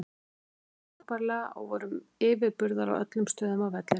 Við spiluðum frábærlega og vorum yfirburðar á öllum stöðum á vellinum.